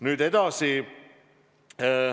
Nüüd edasi.